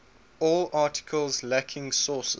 all articles lacking sources